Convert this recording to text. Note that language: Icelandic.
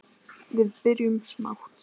Við byrjum smátt.